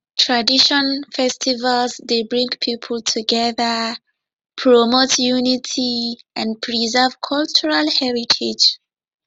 tradition festivals dey bring people together promote unity and preserve cultural heritage